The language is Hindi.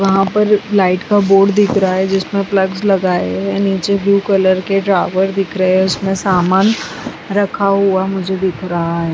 वहाँ पर लाइट का बोर्ड दिख रहा है जिसमें प्लगस लगाए गए हैं नीचे ब्लू कलर के ड्रावर दिख रहे हैं उसमें समान रखा हुआ मुझे दिख रहा है।